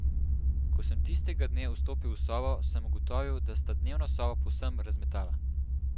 Ko sem tistega dne vstopil v sobo, sem ugotovil, da sta dnevno sobo povsem razmetala.